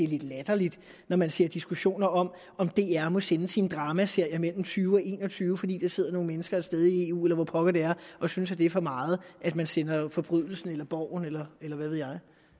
lidt latterligt når man ser diskussioner om om dr må sende sine dramaserier mellem tyve og en og tyve fordi der sidder nogle mennesker et sted i eu eller hvor pokker det er og synes at det er for meget at man sender forbrydelsen eller borgen eller hvad ved jeg